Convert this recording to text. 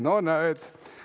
No näed!